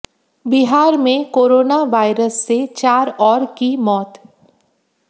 बिहार में corona virus से चार और की मौत